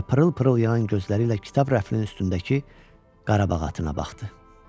Və pırıl-pırıl yanan gözləri ilə kitab rəfinin üstündəki Qarabağ atına baxdı.